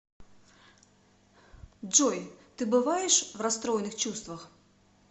джой ты бываешь в расстроенных чувствах